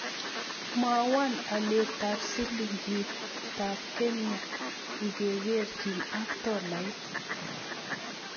Mwawom alyetap silingiitap Kenya ingekerchin ak tolait